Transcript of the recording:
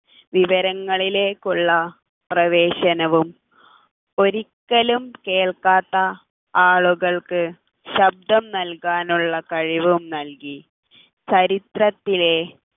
വിവരങ്ങളിലേക്കുള്ള പ്രവേശനവും ഒരിക്കലും കേൾക്കാത്ത ആളുകൾക്ക് ശബ്ദം നൽകാനുള്ള കഴിവും നൽകി ചരിത്രത്തിലെ